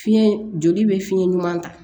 Fiɲɛ joli bɛ fiɲɛ ɲuman ta